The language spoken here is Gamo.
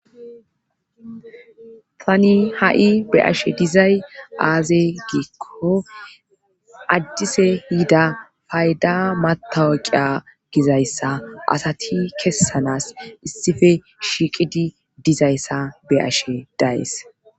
Tani ha'i be ashe dizay aaze giikko addise yiida fayda matawoqiya gizayssa asati kessanas issife shiiqidi dizayssa be ashe dayes